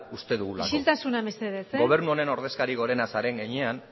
uste dugulako isiltasuna mesedez gobernu honen ordezkari gorena zaren heinean